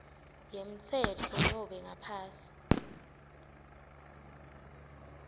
yemtsetfo nobe ngaphansi